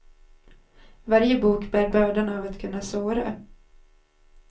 Varje bok bär bördan av att kunna såra.